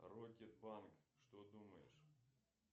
рок и панк что думаешь